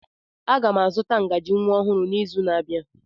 Aga m azụta ngaji nwa ọhụrụ n'izu na-abịa.